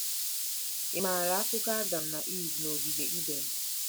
Ị̀ MAARA akụkọ Adam na Iv na ogige Iden?